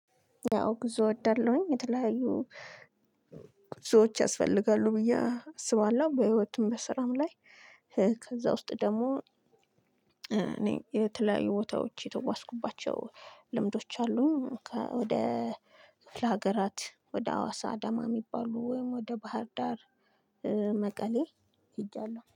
ያው ጉዞ እወዳለሁኝ የተለያዩ ጉዞዎች ያስፈልጋሉ ብዬ አስባለሁ በህይወትም በስራም ላይ ከዛ ውስጥ ደግሞ እኔ የተለያዩ ቦታዎች የተጓዝሁባቸው ልምዶች አሉ። ወደ ሀገራት ወደ ሀዋሳ አዳማ ሚባሉ ወይም ወደ ባህር ዳር መቀሌ ሂጃለሁ